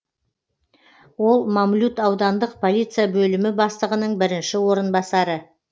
ол мамлют аудандық полиция бөлімі бастығының бірінші орынбасары